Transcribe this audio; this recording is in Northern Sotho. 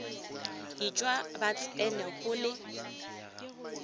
etšwa ba tsena go le